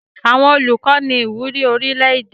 Àwọn Olùkọ ní ìwúrí orílẹ̀-èdè.